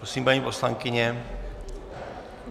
Prosím, paní poslankyně.